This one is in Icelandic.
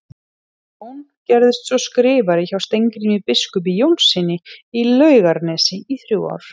Jón gerðist svo skrifari hjá Steingrími biskupi Jónssyni í Laugarnesi í þrjú ár.